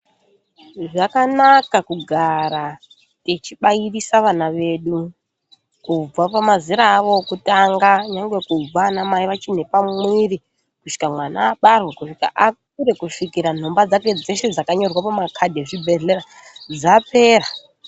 Zvakanaka kugara tichibairisa vana vedu, kubva mumazera avo okutanga, nyangwe kubva anamai vachine pamwiiri, kusvika mwana abarwa, kusvika akure, kusvika nhomba dzake dzeshe dzakanyorwa pamakhadhi echibhedhlera dzapera.